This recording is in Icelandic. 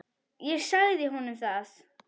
Ég sagði honum það.